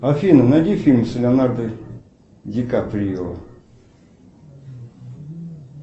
афина найди фильм с леонардо ди каприо